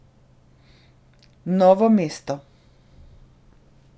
Novo mesto.